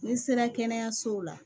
N'i sera kɛnɛyasow la